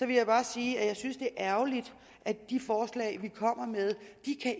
vil bare sige at jeg synes det er ærgerligt at de forslag vi kommer med